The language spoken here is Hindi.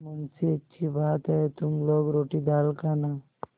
मुंशीअच्छी बात है तुम लोग रोटीदाल खाना